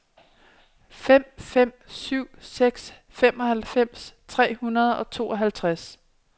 fem fem syv seks femoghalvfems tre hundrede og tooghalvtreds